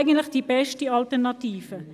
Dies ist die beste Alternative.